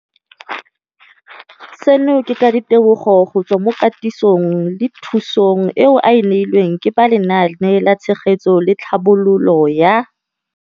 Seno ke ka ditebogo go tswa mo katisong le thu song eo a e neilweng ke ba Lenaane la Tshegetso le Tlhabololo ya.